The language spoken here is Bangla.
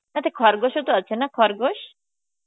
আচ্ছা খরগোশও তো আছে না, খরগোশ?